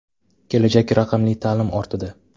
Kelajak raqamli ta’lim ortida.